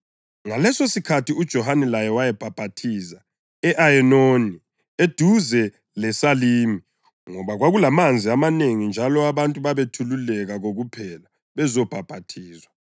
Ngalesosikhathi uJohane laye wayebhaphathiza e-Ayenoni eduze leSalimi ngoba kwakulamanzi amanengi njalo abantu babethululeka kokuphela bezobhaphathizwa.